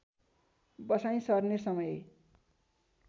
बसाइँ सर्ने समय